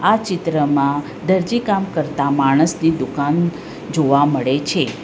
આ ચિત્રમાં દરજી કામ કરતા માણસની દુકાન જોવા મળે.